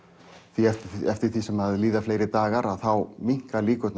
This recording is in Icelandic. því eftir því sem líða fleiri dagar þá minnka líkurnar